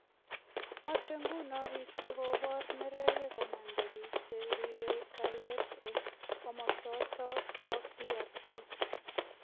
Mache nguno biik chekobor neregek komanda piik cheribe kalyet en komasoton bo DRC